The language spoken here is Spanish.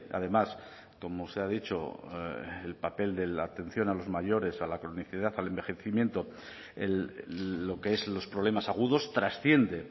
además como se ha dicho el papel de la atención a los mayores a la cronicidad al envejecimiento lo que es los problemas agudos trasciende